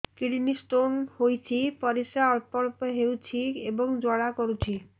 kidney stone ହୋଇଛି ପରିସ୍ରା ଅଳ୍ପ ଅଳ୍ପ ହେଉଛି ଏବଂ ଜ୍ୱାଳା କରୁଛି